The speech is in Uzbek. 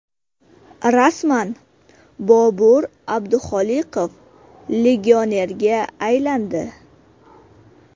Rasman: Bobur Abduxoliqov legionerga aylandi.